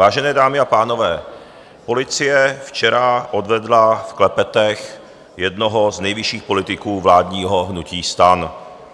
Vážené dámy a pánové, policie včera odvedla v klepetech jednoho z nejvyšších politiků vládního hnutí STAN,